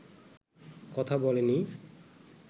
কথা বলেনি